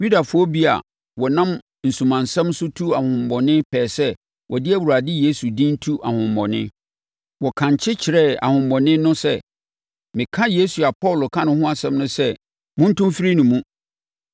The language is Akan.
Yudafoɔ bi a wɔnam asumansɛm so tu ahonhommɔne pɛɛ sɛ wɔde Awurade Yesu din tu ahonhommɔne. Wɔkankye kyerɛɛ ahonhommɔne no sɛ, “Meka Yesu a Paulo ka ne ho asɛm no sɛ, montu mfiri ne mu!”